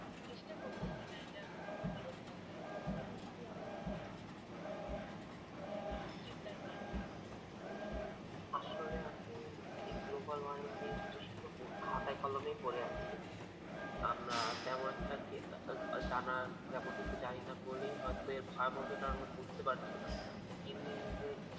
আসলে আপু এই global warming এটা শুধু খাতায় কলমে পরে আছে, আমরা তেমন কিছু জানিনা বলেই এর ভয়াবহতা বুঝতে পারছিনা। দিনদিন যে